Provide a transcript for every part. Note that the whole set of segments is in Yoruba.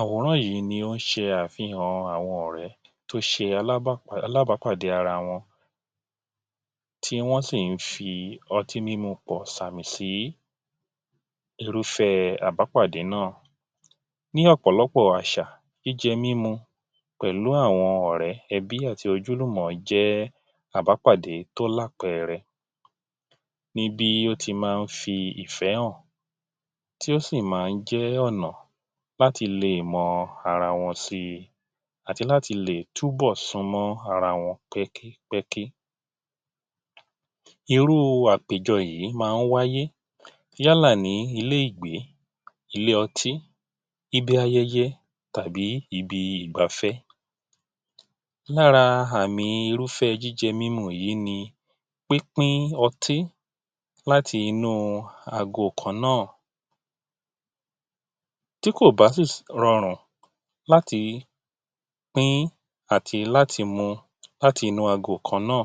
Àwòrán yìí ni ó ń ṣe àfihàn àwọn ọ̀rẹ́ tó ṣe alábàpàdé ara wọn, tí wọ́n sì ń fi ọtí mímu pọ̀ ṣàmì sí irúfẹ́ àbápàdé náà. Ní ọ̀pọ̀lọpọ̀ àṣà, jíjẹ mímú pẹ̀lú àwọn ọ̀rẹ́, ẹbí àti ojúlùmọ̀ jẹ́ àbápàdé tó lápẹẹrẹ; ní bí ó ti máa ń fi ìfẹ́ hàn tí ó sì máa ń jẹ́ ọ̀nà láti lè mọ ara wọn sí, àti láti lè túbọ̀ sún mọ́ ara wọn pẹ́kí pẹ́kí. Irú àpèjọ yìí máa ń wáyé yálà ní ilé-ìgbé, ilé-otí, ibi ayẹyẹ, tàbí ibi ìgbáfẹ́. Lára àmi irúfẹ́ jíjẹ mímu yìí ni: pín pín ọtí láti inú ago kan náà. Tí kò bá sì rọrùn láti pín àti láti mú láti inú ago kan náà,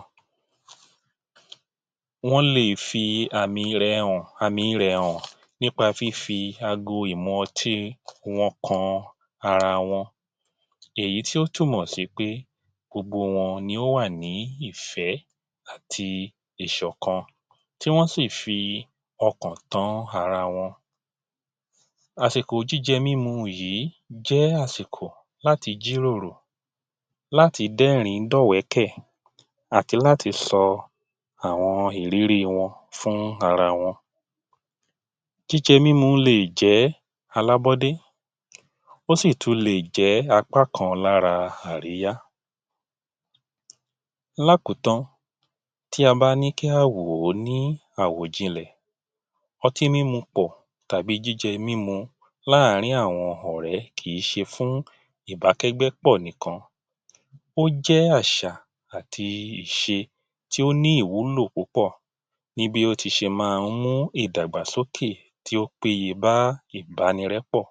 wọ́n lè fi àmì rẹ hàn, àmi rẹ̀ hàn nípa fífi ago ìmu-ọtí wọn kan ara wọn. Èyí tí ó túnmọ̀ sí pé gbogbo wọn ni ó wà ní ìfẹ́ àti ìṣọ̀kan tí wọ́n sì fi ọkàn tán ara wọn. Àsìkò jíjẹ mímu yìí jẹ́ àsìkò láti jíròrò, láti dẹ́rìn-ín dọ́wẹ̀ẹ́kẹ̀, àti láti sọ àwọn ìrírí wọn fún ara wọn. Jíjẹ mímu lè jẹ́ alábọ́dé, ó sì tún lè jẹ́ apá kan lára àríyá. Lákòótán, tí a bá ní kí á wò ó ní àwò ìjìnlẹ̀, ọtí mímu pọ̀ tàbí jíjẹ mímu láàárín àwọn ọ̀rẹ́ kìí ṣe fún ìbákẹ́gbẹ́pọ̀ nìkan, ó jẹ́ àṣà àti ìṣe tí ó ní ìwúlò púpọ̀ ní bí ó ti ṣe máa ń mú ìdàgbàsókè tí ó péye bá ìbánirẹ́pọ̀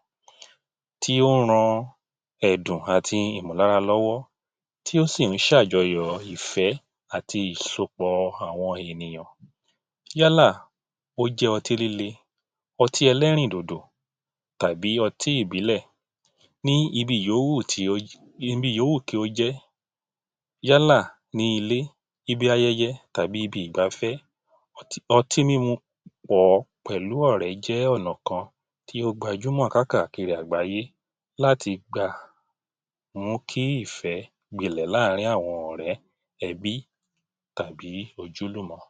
tí ó ń ran ẹ̀dùn àti Ìmọ̀ lára lọ́wọ́, tí ó sì ń ṣàjọyọ̀ ìfẹ́ àti ìsopọ̀ àwọn ènìyàn. Yálà kó jẹ́ ọtí líle, ọtí ẹlẹ́rìn-dòdò, tàbí ọtí ìbílè ni ibi yó hù tí ó ibi yó hù kí ó jẹ́, yálà ní ilé, ibi ayẹyẹ, tàbí ibi ìgbáfẹ́, ọtí mímu pọ pẹ̀lú ọ̀rẹ́ jẹ́ ọ̀nà kan tí ó gbajúmọ̀ káàkiri àgbáyé láti gba mú kí ìfẹ́ gbinlẹ̀ láàárín àwọn ọ̀rẹ́, ẹbí tàbí ojúlùmọ̀